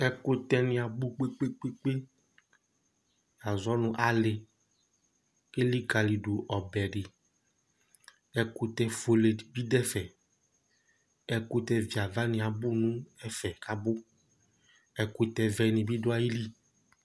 Ɛkʋtɛ ni abu kpe kpe kpe kpe yazɔ nʋ ali kʋ elikali du ɔbɛ di Ɛkʋtɛ fʋele di bi du ɛfɛ Ɛkʋtɛ vi ava ni bi du ɛfɛ kʋ abʋ Ɛkʋtɛ vɛ ni bi du ayìlí